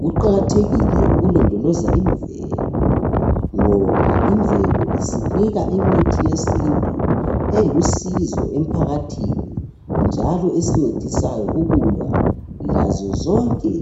Kuqakathekile ukulondoloza imvelo ngoba imvelo isinika imithi yesintu elusizo emphakathini njalo esincedisayo ukulwa lazozonke